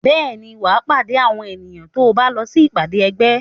Bẹ́ẹ̀ ni, wà á pàdé àwọn èèyàn tó bá lọ sí ìpàdé ẹgbẹ́.